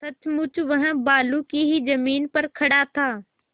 सचमुच वह बालू की ही जमीन पर खड़ा था